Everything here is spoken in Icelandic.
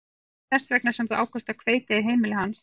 Var það þess vegna sem þú ákvaðst að kveikja í heimili hans?